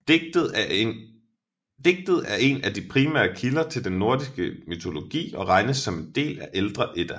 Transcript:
Digtet er en af de primære kilder til den nordiske mytologi og regnes som en del af ældre Edda